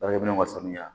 Baarakɛ minɛnw ka sanuya